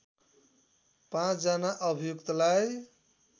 ५ जना अभियुक्तलाई